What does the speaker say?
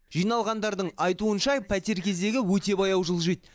жиналғандардың айтуынша пәтер кезегі өте баяу жылжиды